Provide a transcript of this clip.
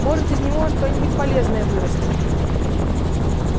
может из него что-нибудь полезное вырастет